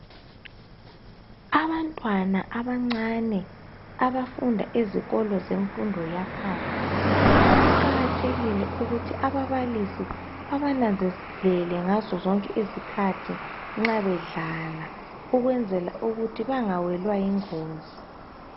Abantwana amancane abafunda imfundo yebanga laphansi, kuqakathekile ukuthi ababalisi babananzelele ngazo zonke izikhathi nxa bedlala ukwenzela ukuthi bangawelwa yingozi.